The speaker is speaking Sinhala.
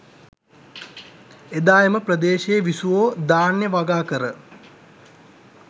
එදා එම ප්‍රදේශයේ විසුවෝ ධාන්‍ය වගාකර